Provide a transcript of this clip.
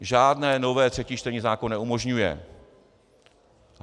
Žádné nové třetí čtení zákon neumožňuje.